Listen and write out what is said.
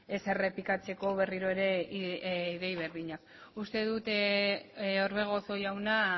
ez errepikatzeko berriro ere ideia berdinak uste dut orbegozo jauna